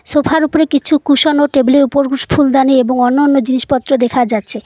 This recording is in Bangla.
সোফা -এর উপরে কিছু কুশন ও টেবিল -এর উপর ফুলদানি এবং অন্যান্য জিনিসপত্র দেখা যাচ্ছে।